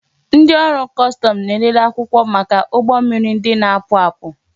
Ndị ọrụ kọstọmụ na-elele akwụkwọ maka ụgbọ mmiri ndị na-apụ apụ